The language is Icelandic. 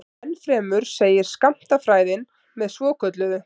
Ennfremur segir skammtafræðin með svokölluðu